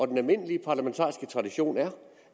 den almindelige parlamentariske tradition er